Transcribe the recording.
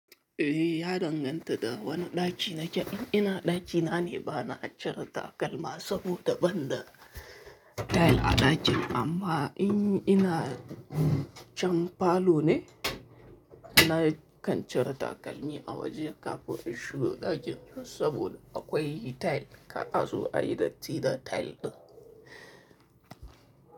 Eh, ya danganta da wani ɗaki nake. In ina ɗaki na ne, bana cire takalma saboda ban da tile a ɗakin. Amma in ina can falo ne, ina kan cire takalmi a waje kafin in shiga ɗakin saboda akwai tile. Ka azo a yi datti da tile ɗin.